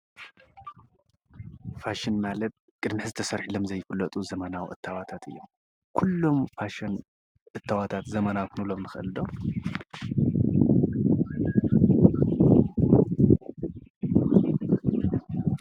ፋሽን ማለት ቅድሚ ሕዚ ተሰሪሒሎም ዘይፈልጥ እታወታት እዮም። ኩሎም ፋሽን እታወታት ዘመናዊ ክንብሎም ንክኢል ዶ?